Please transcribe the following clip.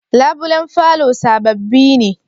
Labulen falo sabobi ne?